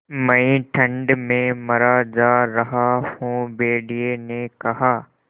मैं ठंड में मरा जा रहा हूँ भेड़िये ने कहा